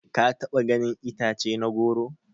Ka taba ganin itace na goro?